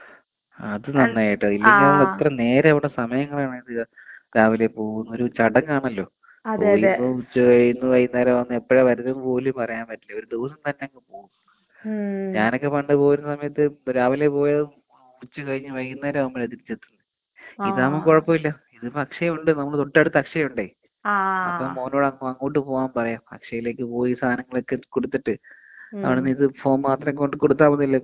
അത് നന്നായിട്ടോ ഇല്ലെങ്കില്‍ നമ്മള് എത്ര നേരം അവിടെ സമയം കളയണം. രാവിലെ പോവണം ഒരു ചടങ്ങാണല്ലോ. *നോട്ട്‌ ക്ലിയർ* ഉച്ച കഴിയുന്നു വൈന്നേരം ആവുന്നു എപ്പളാ വരുന്നെ എന്ന് പോലും പറയാൻ പറ്റില്ല.ഒരു ദിവസം തന്നേ അങ്ങ് പോവും. ഞാനൊക്കെ പണ്ട് പോവുന്ന സമയത്ത് രാവിലേ പോയാ ഉച്ച കഴിഞ്ഞ് വൈകുന്നേരാവുമ്പഴാ തിരിച്ച് എത്തുന്നേ. ഇതാവുമ്പൊ കൊഴപ്പമില്ലാ.ഇതിപ്പൊ അക്ഷയ ഉണ്ട് നമ്മുടെ തൊട്ടടുത്ത് അക്ഷയയുണ്ടെയ്. അപ്പൊ മോനോട് അങ്ങോട്ട് പോവാൻ പറയാം. അക്ഷയിലേക്ക് പോയി ഈ സാനങ്ങളൊക്കെ കൊടുത്തിട്ട് അവിടുന്ന് ഇത് ഫോം മാത്രം ഇങ്ങോട്ട് കൊടുത്ത മതിയല്ലോ കോർപറേഷൻ ഓഫീസില് അല്ലേ?